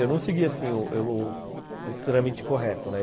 Eu não segui, assim, o o trâmite correto, né?